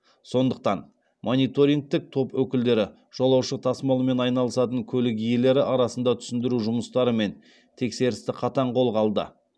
сондықтан мониторингтік топ өкілдері жолаушы тасымалымен айналысатын көлік иелері арасында түсіндіру жұмыстары мен тексерісті қатаң қолға алды